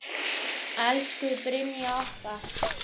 Elsku Brynjar okkar.